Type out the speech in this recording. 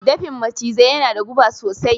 Dafin macizai yana da guba sosai.